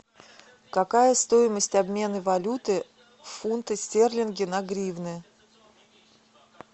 какая стоимость обмена валюты фунты стерлингов на гривны